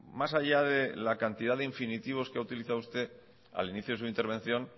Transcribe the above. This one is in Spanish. más allá de la cantidad de infinitivos que ha utilizado usted al inicio de su intervención